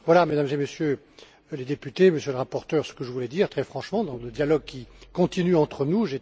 Voilà, Mesdames et Messieurs les députés, Monsieur le rapporteur, ce que je voulais dire très franchement, dans le dialogue qui continue entre nous.